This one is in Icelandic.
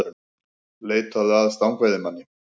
Leituðu að stangveiðimanni